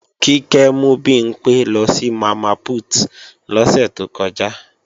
Kíkẹ́ mú Bimpé lọ sí Mama Put lọ́sẹ̀ to kọjá